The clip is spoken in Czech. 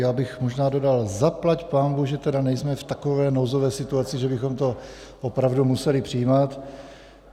Já bych možná dodal, zaplať pánbůh, že tedy nejsme v takové nouzové situaci, že bychom to opravdu museli přijímat.